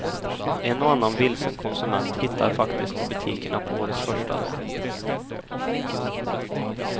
En och annan vilsen konsument hittade faktiskt till butikerna på årets första dag.